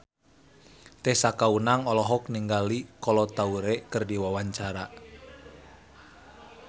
Tessa Kaunang olohok ningali Kolo Taure keur diwawancara